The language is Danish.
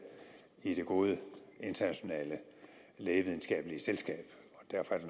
i det gode internationale lægevidenskabelige selskab